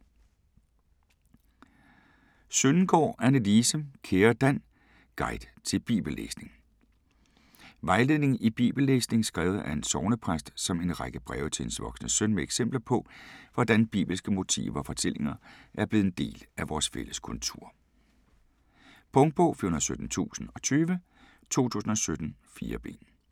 Søndengaard, Annelise: Kære Dan: guide til bibellæsning Vejledning i bibellæsning skrevet af en sognepræst som en række breve til hendes voksne søn med eksempler på, hvordan bibelske motiver og fortællinger er blevet en del af vores fælles kultur. Punktbog 417020 2017. 4 bind.